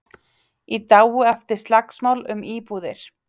Í dái eftir slagsmál um íbúðir